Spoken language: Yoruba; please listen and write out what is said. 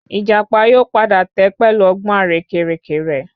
Ìjàpá yóò padà tẹ́ pẹ̀lú ọgbọ́n àrékérekè rẹ